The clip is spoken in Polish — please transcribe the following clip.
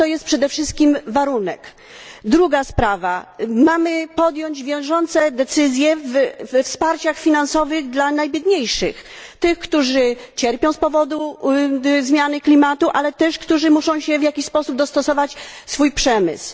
A to jest przede wszystkim warunek. Druga sprawa mamy podjąć wiążące decyzje w sprawie wsparcia finansowego dla najbiedniejszych, czyli tych, którzy cierpią z powodu zmiany klimatu, ale też tych, którzy muszą w jakiś sposób dostosować swój przemysł.